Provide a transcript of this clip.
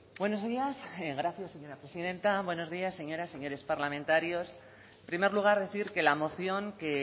buenos días gracias señora presidenta buenos días señoras señores parlamentarios en primer lugar decir que la moción que